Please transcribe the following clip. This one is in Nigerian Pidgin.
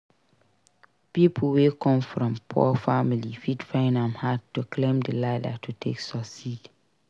Pipo wey come from poor family fit find am hard to climb di ladder to take succeed